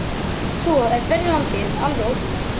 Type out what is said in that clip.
Svo er berjalandið alveg ótrúlegt